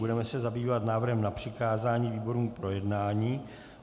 Budeme se zabývat návrhem na přikázání výborům k projednání.